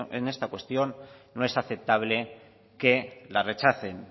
en esta cuestión no es aceptable que la rechacen